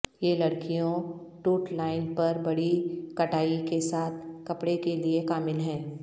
یہ لڑکیوں ٹوٹ لائن پر بڑی کٹائی کے ساتھ کپڑے کے لئے کامل ہیں